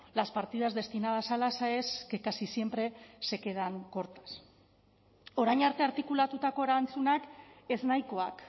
las partidas destinadas a las aes que casi siempre se quedan cortas orain arte artikulatutako erantzunak ez nahikoak